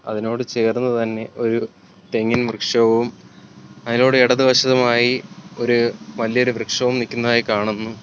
അതിനോട് ചേർന്ന് തന്നെ ഒരു തെങ്ങിൻ വൃക്ഷവും അതിനോട് ഇടതുവശമായി ഒരു വലിയൊരു വൃക്ഷവും നിക്കുന്നതായി കാണുന്നു.